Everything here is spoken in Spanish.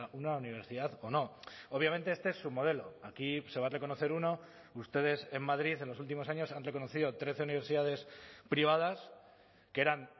una universidad o no obviamente este es su modelo aquí se va a reconocer uno ustedes en madrid en los últimos años han reconocido trece universidades privadas que eran